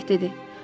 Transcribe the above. Şeyx dedi: